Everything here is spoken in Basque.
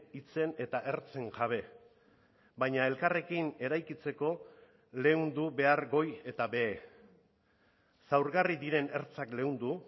hitzen eta ertzen jabe baina elkarrekin eraikitzeko leundu behar goi eta behe zaurgarri diren ertzak leundu